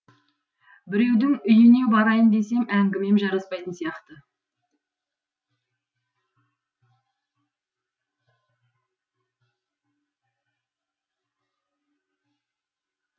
біреудің үйіне барайын десем әңгімем жараспайтын сияқты